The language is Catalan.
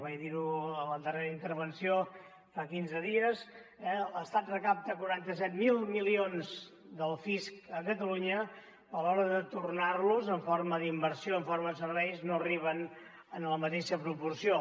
vaig dir ho a la darrera intervenció fa quinze dies l’estat recapta quaranta set mil milions del fisc a catalunya a l’hora de tornar los en forma d’inversió en forma de serveis no arriben en la mateixa proporció